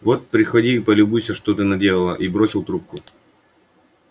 вот приходи и полюбуйся что ты наделала и бросил трубку